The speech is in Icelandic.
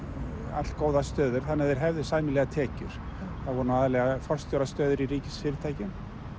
allgóðar stöður þannig að þeir hefðu sæmilegar tekjur það voru nú aðallega í ríkisfyrirtækjum